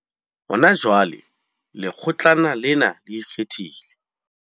Hona jwale, Lekgotlana lena le Ikgethileng.